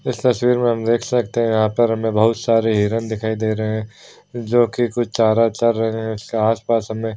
इस तस्वीर में हम देख सकते है यहां पर बहुत सारी हिरण दिखाई दे रही है जो की कुछ चारा चर रहे है इसके आस-पास हमे।